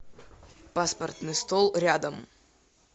паспортный стол рядом